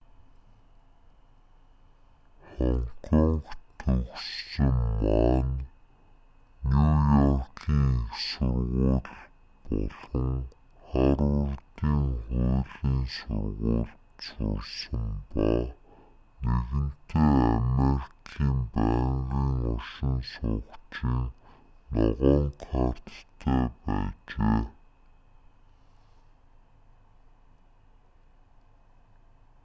хонконгт төрсөн ма нь нью-йоркийн их сургууль болон харвардын хуулийн сургуульд сурсан ба нэгэнтээ америкийн байнгын оршин суугчийн ногоон карт"-тай байжээ